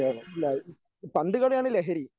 ഇല്ല പന്തുകളിയാണ് ലഹരി.